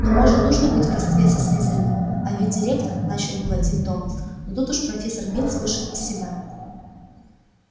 но может нужно быть в родстве со слизерином а ведь директор начал было дин томас но тут уж профессор бинс вышел из себя